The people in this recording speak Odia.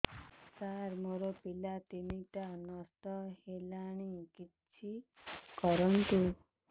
ସାର ମୋର ପିଲା ତିନିଟା ନଷ୍ଟ ହେଲାଣି କିଛି କରନ୍ତୁ